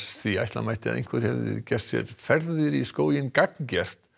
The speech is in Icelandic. því ætla mætti að einhver geri sér ferðir í skóginn gagngert